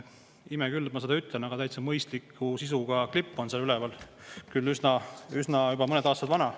Ime küll, et ma seda ütlen, aga täitsa mõistliku sisuga klipp on seal üleval, küll juba mõned aastad vana.